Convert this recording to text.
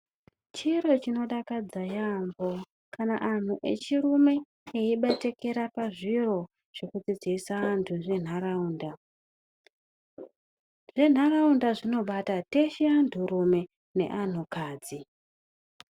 Chiro chinodakadza yamho kana antu echirume eibatikira pazviro zvekudzidzisa antu zvenharaunda. Zvenharaunda zvinobata teshe anhurume neanhukadzi.